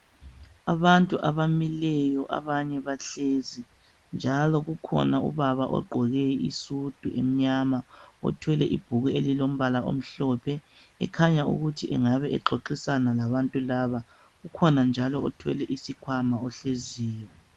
Abantu abamileyo abanye bahlezi njalo kukhona ubaba ogqoke isudu emnyama othwele ibhuku elilombala omhlophe ekhanya ukuthi engabe exoxisana labantu laba kukhona njalo othwele isikhwama ohleziyo